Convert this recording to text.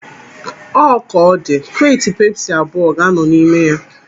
Ọ ka ọ dị, kreeti pepsi abụọ ga-anọ n'ime ya.